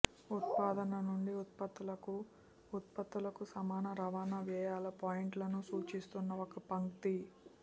ఉత్పాదన నుండి ఉత్పత్తులకు ఉత్పత్తులకు సమాన రవాణా వ్యయాల పాయింట్లను సూచిస్తున్న ఒక పంక్తి